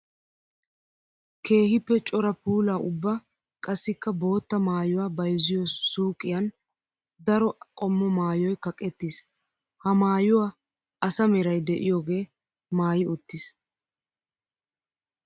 Keehippe cora puula ubba qassikka bootta maayuwa bayzziyo suyqqiyan daro qommo maayoy kaqqettis. Ha maayuwa asa meray de'iyooge maayi uttiis.